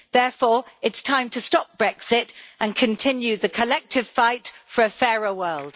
Therefore, it's time to stop Brexit and continue the collective fight for a fairer world.